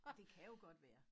Det kan jo godt være